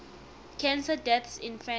cancer deaths in france